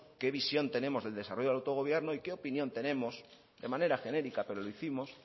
qué visión tenemos del desarrollo del autogobierno y qué opinión tenemos de manera genérica pero lo hicimos